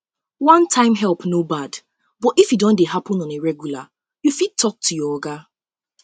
one time help no bad but if e don dey happen on a regular you fit talk you fit talk to your oga